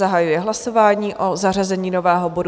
Zahajuji hlasování o zařazení nového bodu.